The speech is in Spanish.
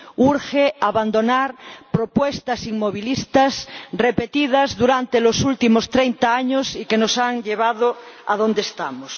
Urge abandonar propuestas inmovilistas repetidas durante los últimos treinta años y que nos han llevado adonde estamos.